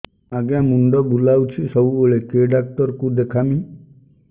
ଆଜ୍ଞା ମୁଣ୍ଡ ବୁଲାଉଛି ସବୁବେଳେ କେ ଡାକ୍ତର କୁ ଦେଖାମି